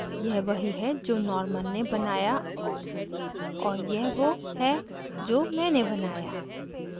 यह वही है जो norman ने बनाया और यह वो है जो मैंने बनाया